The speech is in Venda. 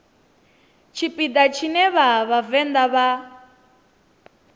tshipiḓa tshine vha vhavenḓa vha